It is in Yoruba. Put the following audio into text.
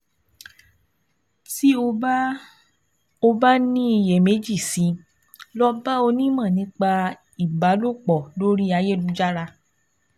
Tí o bá o bá ní iyèméjì sí i, lọ bá onímọ̀ nípa ìbálòpọ̀ lórí ayélujára